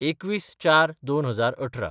२१/०४/२०१८